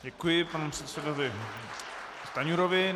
Děkuji panu předsedovi Stanjurovi.